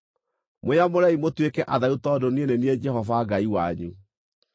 “ ‘Mwĩyamũrei mũtuĩke atheru tondũ niĩ nĩ niĩ Jehova Ngai wanyu.